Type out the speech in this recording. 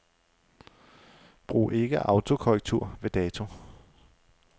Brug ikke autokorrektur ved dato.